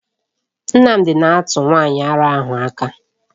Nnamdi na-atụ nwanyị ara ahụ aka.